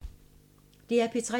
DR P3